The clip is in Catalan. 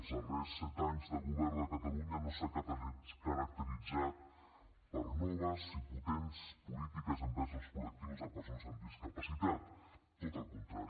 els darrers set anys de govern de catalunya no s’ha caracteritzat per noves i potents polítiques envers els col·lectius de persones amb discapacitat tot al contrari